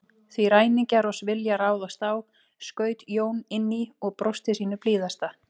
Því ræningjar oss vilja ráðast á, skaut Jón inn í og brosti sínu blíðasta.